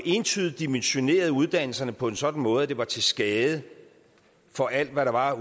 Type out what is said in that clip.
entydigt dimensionerede uddannelserne på en sådan måde at det var til skade for alt hvad der var